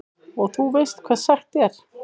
Og þú veist hvað sagt er?